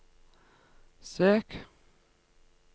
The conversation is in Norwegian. søk